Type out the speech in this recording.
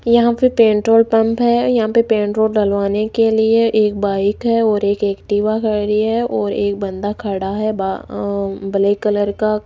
यहां पे petrol pump है यहां पे पेट्रोल डलवाने के लिए एक बाइक है और एक एक्टिवा खड़ी है और एक बंदा खड़ा है बा अ ब्लैक कलर का --